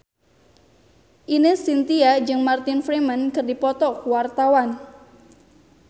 Ine Shintya jeung Martin Freeman keur dipoto ku wartawan